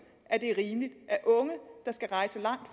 at det er rimeligt